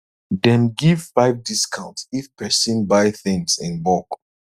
dem give five discount if person buy things in bulk